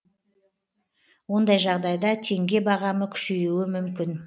ондай жағдайда теңге бағамы күшеюі мүмкін